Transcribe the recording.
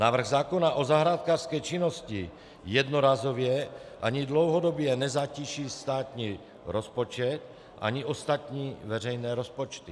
Návrh zákona o zahrádkářské činnosti jednorázově ani dlouhodobě nezatíží státní rozpočet ani ostatní veřejné rozpočty.